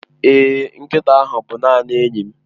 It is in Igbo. Èé, nkịta ahụ bụ naanị enyi m.